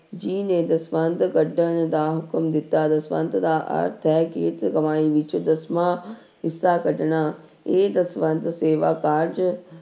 ਜੀ ਨੇ ਦਸਵੰਧ ਕੱਢਣ ਦਾ ਹੁਕਮ ਦਿੱਤਾ, ਦਸਵੰਧ ਦਾ ਅਰਥ ਹੈ ਕਿ ਇੱਕ ਕਮਾਈ ਵਿੱਚ ਦਸਵਾਂ ਹਿੱਸਾ ਕੱਢਣਾ, ਇਹ ਦਸਵੰਧ ਸੇਵਾ ਕਾਰਜ